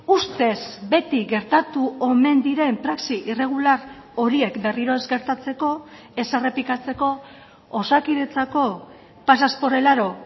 ustez beti gertatu omen diren praxi irregular horiek berriro ez gertatzeko ez errepikatzeko osakidetzako pasas por el aro